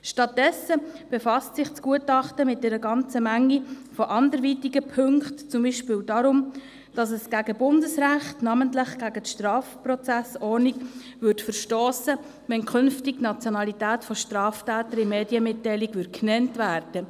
Stattdessen befasst sich das Gutachten mit einer ganzen Menge von anderen Punkten, beispielsweise, dass es gegen Bundesrecht, namentlich gegen die Schweizerische Strafprozessordnung (StPO), verstösst, wenn künftig die Nationalität von Straftätern in Medienmitteilungen genannt würde.